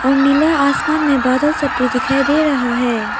और नीला आसमान में बादल सफेद दिखाई दे रहा है।